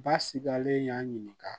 Basigilen y'a ɲininka